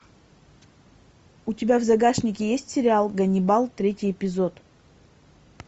у тебя в загашнике есть сериал ганнибал третий эпизод